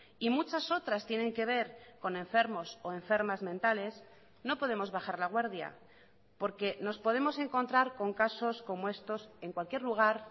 y muchas otras tienen que ver con enfermos o enfermas mentales no podemos bajar la guardia porque nos podemos encontrar con casos como estos en cualquier lugar